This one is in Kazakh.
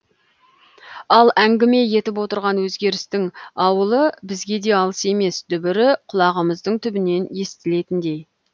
ал әңгіме етіп отырған өзгерістің ауылы бізге де алыс емес дүбірі құлағымыздың түбінен естілетіндей